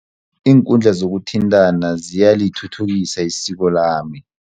Iinkundla zokuthintana ziyalithuthukisa isiko lami.